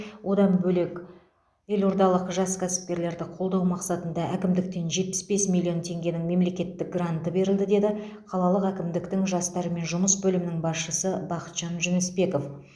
одан бөлек елордалық жас кәсіпкерлерді қолдау мақсатында әкімдіктен жетпіс бес миллион теңгенің мемлекеттік гранты берілді деді қалалық әкімдіктің жастармен жұмыс бөлімінің басшысы бақытжан жүнісбеков